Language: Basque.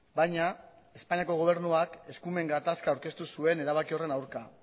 baina espainiako gobernuak eskumen gatazka aurkeztu zuen erabaki horren aurka